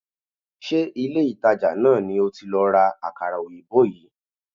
Ṣé ilé-ìtàjà náà ni o ti lọ ra àkàrà òyìnbó yìí?